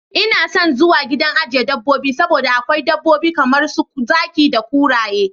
Ina son zuwa gidan ajiye dabobbi saboda akwai dabbobi kamar su zaki da kuraye.